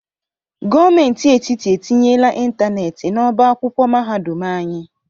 Gomenti etiti etinyela ịntaneeti n'ọba akwụkwọ mahadum anyị